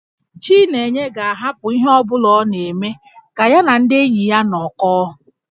Chinenye ga-ahapụ ihe ọ bụla ọ na-eme ka ya na ndị enyi ya nọkọọ